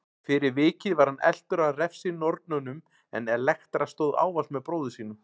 Fyrir vikið var hann eltur af refsinornunum en Elektra stóð ávallt með bróður sínum.